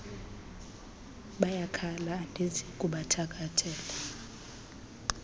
bayakhala andizi kubakhathalela